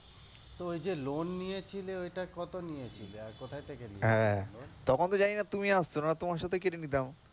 তো ঐ যে loan নিয়েছিলে ঐটা কত নিয়েছিলে আর কোথা থেকে নিয়েছিলে? হ্যাঁ তখন তো জানিনা তুমি আসছো নাহলে তোমার সাথে কেটে নিতাম।